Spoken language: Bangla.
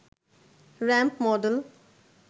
ramp model